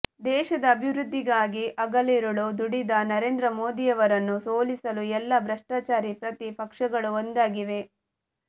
ದೇಶದ ಅಭಿವೃದ್ಧಿಗಾಗಿ ಹಗಲಿರುಳು ದುಡಿದ ನರೇಂದ್ರ ಮೋದಿಯವರನ್ನು ಸೋಲಿಸಲು ಎಲ್ಲ ಭ್ರಷ್ಟಾಚಾರಿ ಪ್ರತಿ ಪಕ್ಷಗಳು ಒಂದಾಗಿವೆ